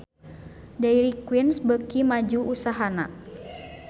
Dairy Queen beuki maju usahana